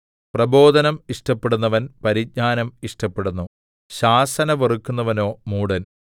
പ്രബോധനം ഇഷ്ടപ്പെടുന്നവൻ പരിജ്ഞാനം ഇഷ്ടപ്പെടുന്നു ശാസന വെറുക്കുന്നവനോ മൂഢൻ